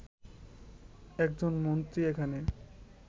একজন মন্ত্রী এখানে